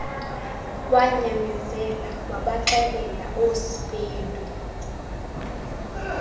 wanyamezela wabaxelela oospeedo